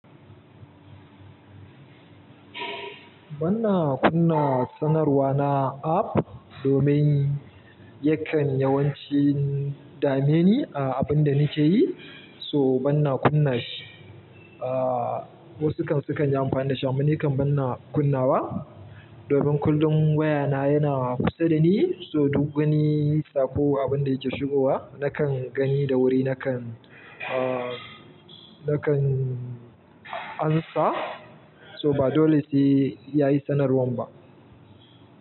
Bana kunna sanarwa na app domin yakan yawancin dame ni a abin da nake yi, so bana kunna shi. Ah, wasu kan sukan yi amfani da shi amma nikan bana kunnawa domin kullum wayana yana kusa da ni, so duk gani sa ko abin da yake shigowa nakan gani da wuri, nakan, ah, nakan ansa. So ba dole sai yayi sanarwan ba.